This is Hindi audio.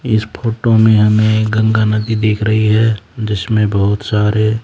इस फोटो में हमें गंगा नदी दिख रही है जिसमें बहुत सारे--